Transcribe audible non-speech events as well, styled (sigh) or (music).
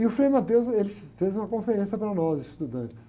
E o Frei, (unintelligible) ele fez uma conferência para nós, estudantes.